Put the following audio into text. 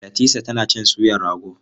Latisa tana cin suyar rago.